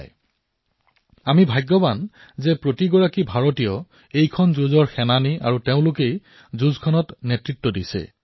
আৰু আমি ভাগ্যশালী যে আজি সমগ্ৰ দেশ দেশৰ প্ৰতিজন নাগৰিক জনসাধাৰণে এই যুদ্ধত সৈনিক হিচাপে যুদ্ধত নেতৃত্ব প্ৰদান কৰিছে